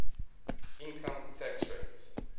income tax rates